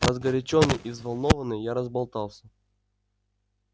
разгорячённый и взволнованный я разболтался